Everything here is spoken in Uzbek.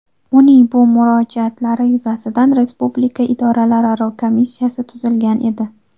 Uning bu murojaatlari yuzasidan Respublika idoralararo komissiyasi tuzilgan edi .